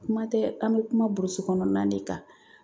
Kuma tɛ an bɛ kuma burusikɔnɔna de kan